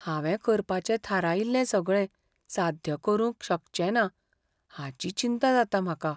हांवें करपाचें थारायिल्लें सगळें साध्य करूंक शकचेंना हाची चिंता जाता म्हाका.